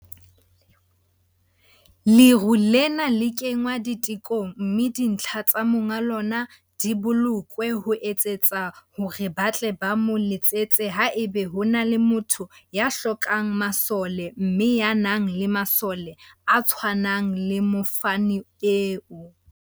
Lero lena le kengwa ditekong mme dintlha tsa monga lona di bolokwe ho etsetsa hore ba tle ba mo letsetse haeba ho na le motho ya hlokang masole mme ya nang le masole a tshwanang le mofani eo.